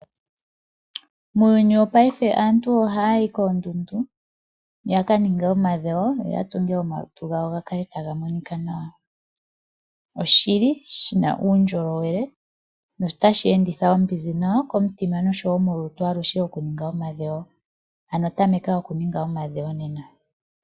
Muuyuni wopaife aantu ohaayo koondundu yaka ninge omadhewo ya tunge omalutu gawo gakale taga monika nawa. Oshili shina uundjolowele notashi enditha oombinzi dhawo komitima osho wo molutu aluhe okuninga omadhewo. Ano tameka okuninga omadhewo nena.